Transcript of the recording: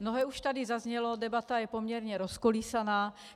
Mnohé už tady zaznělo, debata je poměrně rozkolísaná.